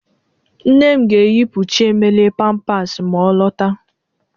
Nne m ga-eyipu Chiemelie pampasị ma ọ lọta.